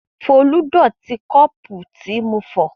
Folú dọ̀tí kọ́ọ́pù tí mo fọ̀.